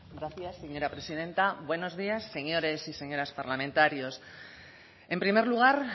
gracias señora presidenta buenos días señores y señoras parlamentarios en primer lugar